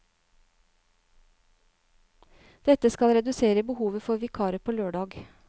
Dette skal redusere behovet for vikarer på lørdag.